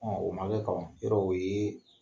o man kɛ yɔrɔ o ye